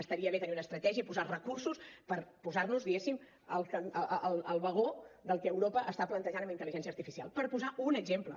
estaria bé tenir una estratègia posar els recursos per posar nos diguéssim al vagó del que europa està plantejant amb la intel·ligència artificial per posar un exemple